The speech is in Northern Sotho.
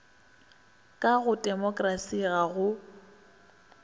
ka go temokerasi ga go